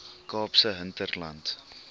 kaapse hinterland